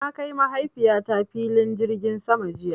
Na kai Mahaifiyata filin jirgin sama jiya.